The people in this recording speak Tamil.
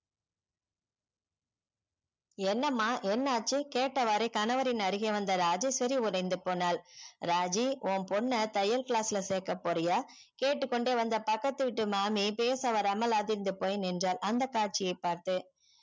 என்னமா என்ன ஆச்சு கேட்டவாரு கனவரின் அருகே வந்ததே ராஜேஸ்வரி உறைந்து போனால் ராஜி உன் பொண்ண தையல் class ல சேர்க்க போரிய கேட்டுகொண்டே வந்த பக்கத்த வீட்டு மாமி பேசவராமல் அதிர்ந்து போய் நின்றால் அந்த காட்சியே பார்த்து